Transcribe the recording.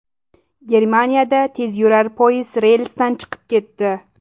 Germaniyada tezyurar poyezd relsdan chiqib ketdi .